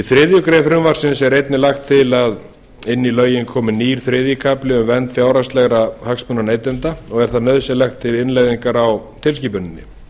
þriðju greinar frumvarpsins er einnig lagt til að inn í lögin komi nýr þriðji kafli um vernd fjárhagslegra hagsmuna neytenda og er það nauðsynlegt til innleiðingar á tilskipuninni